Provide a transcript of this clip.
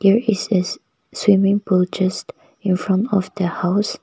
there is swimming pool just infront of the house.